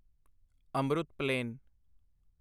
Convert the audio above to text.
Amrut plain